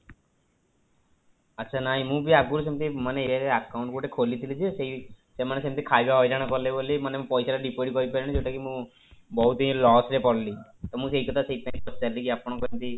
ଆଚ୍ଛା, ନାଇଁ ମୁଁ ବି ଆଗରୁ ସେମିତି ମାନେ ଇଏ account ଗୋଟେ ଖୋଲିଥିଲି ଯେ ସେଇ ସେମାନେ ସେମିତି ଖାଇବା ହଇରାଣ କଲେ ବୋଲି ମାନେ ମୁଁ ପଇସା ଟା deposit କରିପାରିଲିନି ଯୋଉଟା କି ମୁଁ ବହୁତ loss ରେ ପଡିଲି ତ ମୁ ସେଇ କଥା ସେଇଥିପାଇଁ ପଚାରିଲି କି ଆପଣଙ୍କର ସେମିତି